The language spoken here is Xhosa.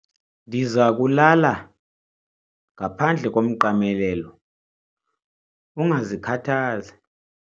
Ndiza kulala ngaphandle komqamelelo, ungazikhathazi.